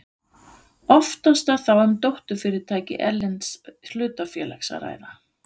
Oftast er þá um dótturfyrirtæki erlends hlutafélags að ræða.